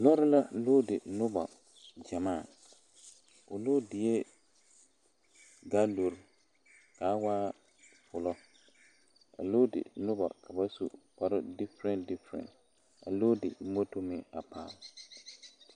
Lɔɔre la luudi 'noba gyamaa o luudie galori ka a waa full a luudi noba ka ba su kpare difere difere a luudi moto meŋ a paale.